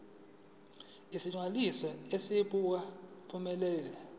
isilinganiso esingu uphumelele